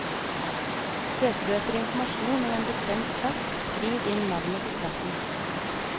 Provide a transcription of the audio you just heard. Søker du etter informasjon om en bestemt plass, skriv inn navnet på plassen.